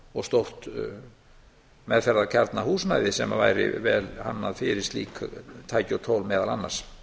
og stórt meðferðarkjarnahúsnæði sem að væri vel hannað fyrir slík tæki og tól meðal annars